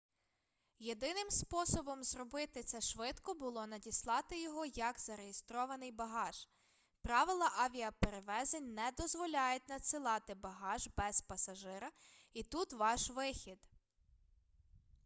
єдиним способом зробити це швидко було надіслати його як зареєстрований багаж правила авіаперевезень не дозволяють надсилати багаж без пасажира і тут ваш вихід